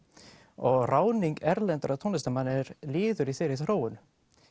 og ráðning erlendra tónlistarmanna er liður í þeirri þróun